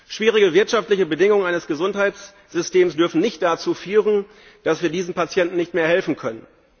Schwierige wirtschaftliche Bedingungen eines Gesundheitssystems dürfen nicht dazu führen, dass wir diesen Patienten nicht mehr helfen können.